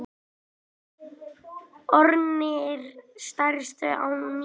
Orðnir stærstir á ný